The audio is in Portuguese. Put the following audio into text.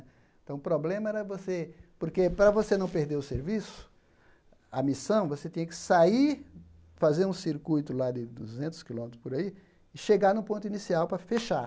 Então o problema era você... Porque para você não perder o serviço, a missão, você tinha que sair, fazer um circuito lá de duzentos quilômetros por aí e chegar no ponto inicial para fechar.